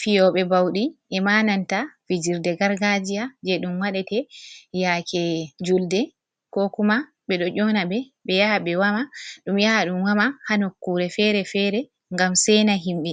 Fiyoɓe ɓaudi em nanta fijirde gargajiya je ɗum waɗete yake julde ko kuma ɓe ɗo ƴona ɓe ɓe yaha be woma ɗum yaha ɗum woma ha nokkure fere-fere ngam sena himɓɓe,